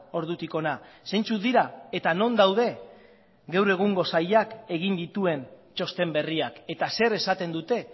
ordutik hona zeintzuk dira eta non daude geure egungo sailak egin dituen txosten berriak eta zer esaten dute